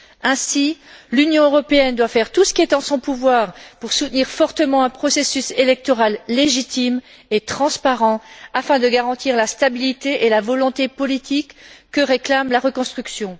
Ainsi, l'Union européenne doit faire tout ce qui est en son pouvoir pour soutenir fortement un processus électoral légitime et transparent afin de garantir la stabilité et la volonté politique que réclame la reconstruction.